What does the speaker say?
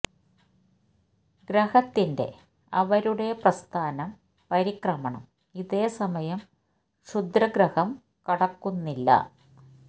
ഗ്രഹത്തിന്റെ അവരുടെ പ്രസ്ഥാനം പരിക്രമണം ഇതേ സമയം ക്ഷുദ്രഗ്രഹം കടക്കുന്ന ഇല്ല